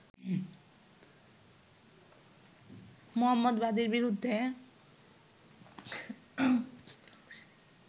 মোহাম্মদ বাদির বিরুদ্ধে